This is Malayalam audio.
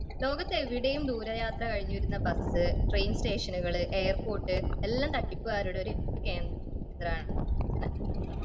ലോകത്ത് എവിടെയും ദൂരയാത്ര കഴിഞ്ഞുവരുന്ന ബസ്, ട്രെയിൻ സ്റ്റേഷനുകൾ, എയർപോർട്ട് എല്ലാം തട്ടിപ്പിക്കരുടെ കേദ്രമാണ്.